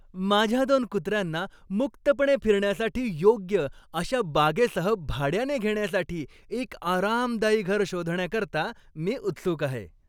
माझ्या दोन कुत्र्यांना मुक्तपणे फिरण्यासाठी योग्य अशा बागेसह भाड्याने घेण्यासाठी एक आरामदायी घर शोधण्याकरता मी उत्सुक आहे.